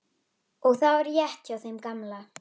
Og það var rétt hjá þeim gamla.